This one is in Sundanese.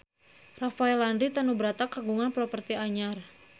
Rafael Landry Tanubrata kagungan properti anyar